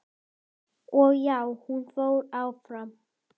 Og já, hún fór áfram!!